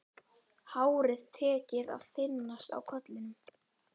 Hárið tekið að þynnast á kollinum.